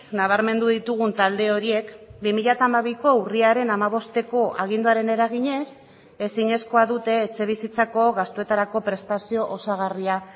nabarmendu ditugun talde horiek bi mila hamabiko urriaren hamabosteko aginduaren eraginez ezinezkoa dute etxebizitzako gastuetarako prestazio osagarria